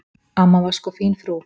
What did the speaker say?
Amma var sko fín frú.